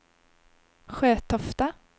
Sjötofta